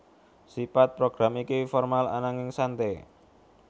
Sipat program iki formal ananging sante